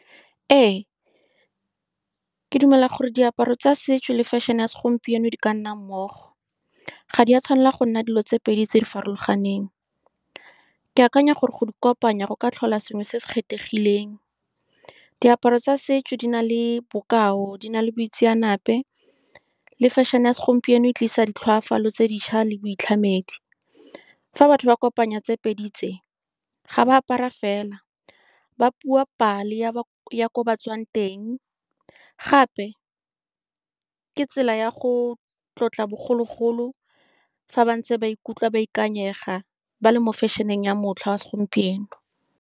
Ee, ke dumela gore diaparo tsa setso le fashion-e ya segompieno di ka nna mmogo, ga di a tshwanela go nna dilo tse pedi tse di farologaneng. Ke akanya gore go di kopanya go ka tlhola sengwe se se kgethegileng. Diaparo tsa setso di na le bokao, di na le boitseanape, le fashion-e ya segompieno e tlisa ditlhoafalo tse dintšhwa le boitlhamedi. Fa batho ba kopanya tse pedi tse, ga ba apara fela, ba bua pale ya ya kwa ba tswang teng. Gape ke tsela ya go tlotla bogologolo fa ba ntse ba ikutlwa ba ikanyega, ba le mo fashion-eng ya motlha wa segompieno.